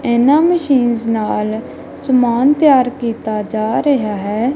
ਇਹਨਾਂ ਮਸ਼ੀਨਸ ਨਾਲ ਸਮਾਨ ਤਿਆਰ ਕੀਤਾ ਜਾ ਰਿਹਾ ਹੈ।